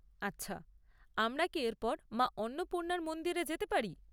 আচ্ছা, আমরা কি এরপর মা অন্নপূর্ণার মন্দিরে যেতে পারি?